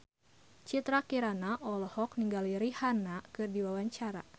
Citra Kirana olohok ningali Rihanna keur diwawancara